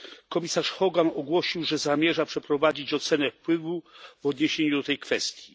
Komisarz Hogan ogłosił, że zamierza przeprowadzić ocenę wpływu w odniesieniu do tej kwestii.